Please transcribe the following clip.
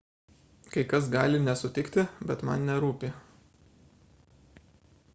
kai kas gali nesutikti bet man nerūpi